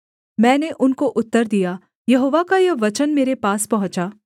मैंने उनको उत्तर दिया यहोवा का यह वचन मेरे पास पहुँचा